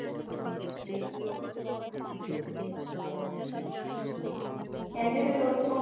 ਕਹਿੰਦੇ ਫਿਰ ਉਥੋ ਜਿਹੜੇ, ਹਾਜੀ